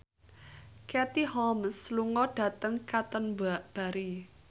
Katie Holmes lunga dhateng Canterbury